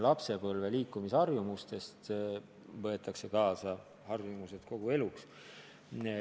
Lapsepõlve liikumisharjumused võetakse kaasa kogu eluks.